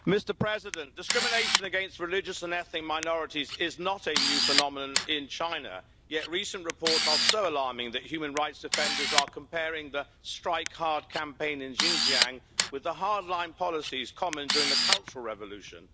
Mr President, discrimination against religious and ethnic minorities is not a new phenomenon in China, yet recent reports are so alarming that human rights defenders are comparing the Strike Hard Campaign in Xinjiang with the hard-line policies common during the Cultural Revolution.